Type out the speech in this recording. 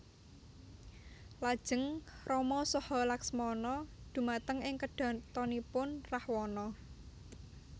Lajeng Rama saha Laksmana dhumateng ing kedhatonipun Rahwana